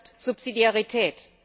Das ist Subsidiarität.